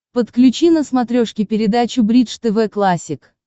подключи на смотрешке передачу бридж тв классик